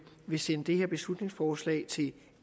vil sende det her beslutningsforslag til